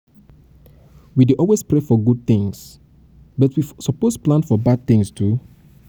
we dey always um pray um for good tins but we suppose um plan for bad tins too.